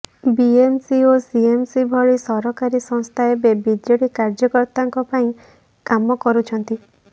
BMC ଓ CMC ଭଳି ସରକାରି ସଂସ୍ଥା ଏବେ ବିଜେଡି କାର୍ଯ୍ୟକର୍ତାଙ୍କ ପାଇଁ କାମ କରୁଛନ୍ତି